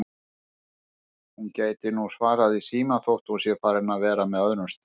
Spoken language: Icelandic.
Hún gæti nú svarað í símann þótt hún sé farin að vera með öðrum strák